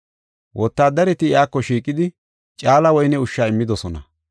Wotaaddareti iyako shiiqidi, caala woyne ushsha immidosona.